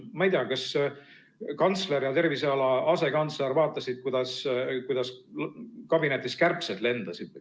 Ma ei tea, kas kantsler ja terviseala asekantsler vaatasid, kuidas kabinetis kärbsed lendasid või.